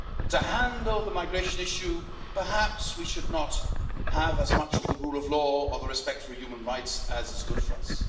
To handle the migration issue, perhaps we should not have as much of the rule of law or the respect for human rights as is good for us.